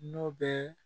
N'o bɛ